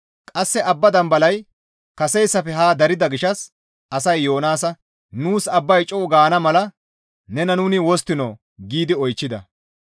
Qasse abba dambalay kaseyssafe haa darida gishshas asay Yoonaasa, «Nuus abbay co7u gaana mala nena nuni wosttinoo?» giidi oychchida.